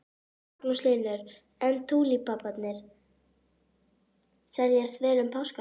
Magnús Hlynur: En túlípanarnir seljast vel um páskana?